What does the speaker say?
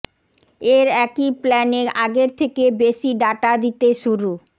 এর একই প্ল্যানে আগের থেকে বেশি ডাটা দিতে শুরু